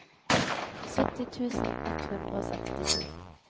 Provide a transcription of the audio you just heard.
sytti tusen ett hundre og sekstito